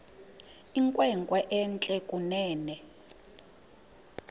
inkwenkwe entle kunene